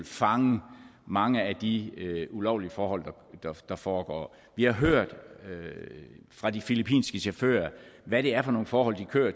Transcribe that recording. fange mange af de ulovlige forhold der foregår vi har hørt fra de filippinske chauffører hvad det er for nogle forhold de kører